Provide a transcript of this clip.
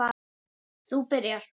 Þú byrjar.